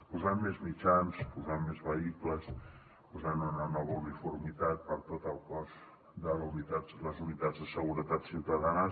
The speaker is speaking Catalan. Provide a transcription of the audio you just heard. posant més mitjans posant més vehicles posant una nova uniformitat per a tot el cos de les unitats de seguretat ciutadana